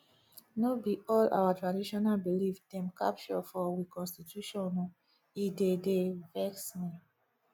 no be all our traditional belief dem capture for we constitution o e dey dey vex me